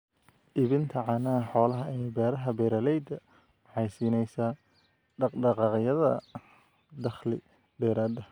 Iibinta caanaha xoolaha ee beeraha beeralayda waxay siinaysaa dhaq-dhaqaaqyada dakhli dheeraad ah.